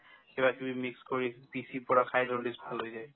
কিবাকিবি mix কৰি পিচি পেলাই খাই jaundice ভাল হৈ যায়